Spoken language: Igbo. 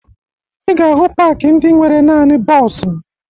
Ị ga-ahụ paakị ndị nwere naani bọọsụ